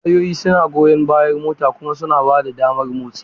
Tayoyi suna goyan bayan motar kuma suna ba da damar motsi.